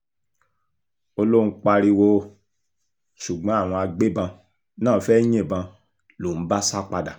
ó lóun pariwo ṣùgbọ́n àwọn agbébọn náà fẹ́ẹ́ yìnbọn lòún bá sá padà